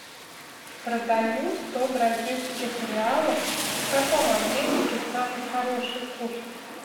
продаю сто бразильских реалов в каком обменнике самый хороший курс